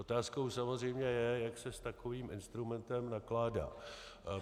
Otázkou samozřejmě je, jak se s takovým instrumentem nakládá.